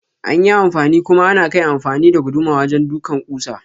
Anyi anfani kuma anakai amfani da guduma wajen ɗukan kusa.